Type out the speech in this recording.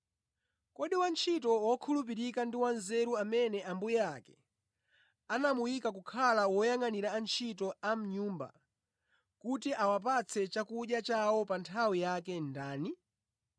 “Kodi wantchito wokhulupirika ndi wanzeru amene ambuye ake anamuyika kukhala woyangʼanira antchito a mʼnyumba kuti awapatse chakudya chawo pa nthawi yake ndani?